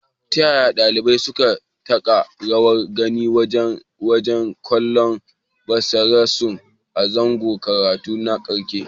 Ta yaya ɗaliban suka taka rawar gani wajen baje kolin basirarsu a zangon karatu na ƙarshe.